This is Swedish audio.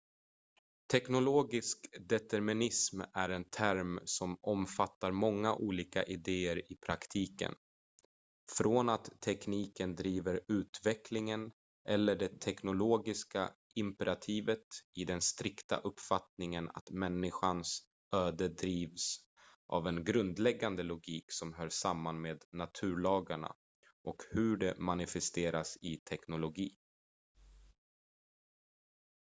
teknologisk determinism är en term som omfattar många olika idéer i praktiken från att tekniken driver utvecklingen eller det teknologiska imperativet i den strikta uppfattningen att människans öde drivs av en grundläggande logik som hör samman med naturlagarna och hur de manifesteras i teknologi